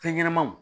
Fɛn ɲɛnɛmanw